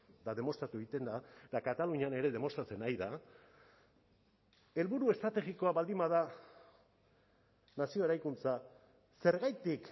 eta demostratu egiten da eta katalunian ere demostratzen ari da helburu estrategikoa baldin bada nazio eraikuntza zergatik